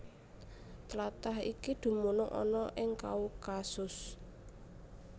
Tlatah iki dumunung ana ing Kaukasus